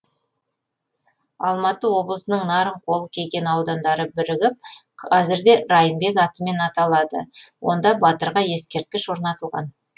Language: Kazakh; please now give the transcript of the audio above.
алматы облысының нарынқол кеген аудандары бірігіп қазірде райымбек атымен аталады онда батырға ескерткіш орнатылған